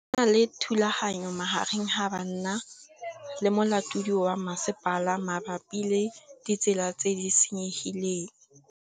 Go na le thulanô magareng ga banna le molaodi wa masepala mabapi le ditsela tse di senyegileng.